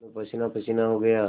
मैं पसीनापसीना हो गया